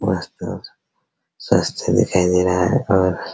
उस तरफ स्वच्छ दिखाई दे रहा है और --